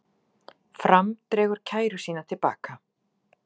Fram dregur kæru sína til baka